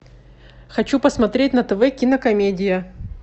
хочу посмотреть на тв кинокомедия